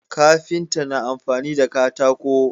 Kafinta na amfani da katako